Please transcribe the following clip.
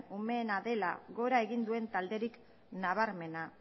umeena dela gora egin duen talderik nabarmena